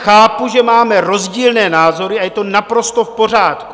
Chápu, že máme rozdílné názory, a je to naprosto v pořádku.